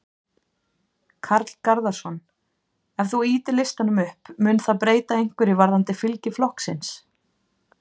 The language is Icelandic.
Karl Garðarsson: Ef þú ýtir listanum upp, mun það breyta einhverju varðandi fylgi flokksins?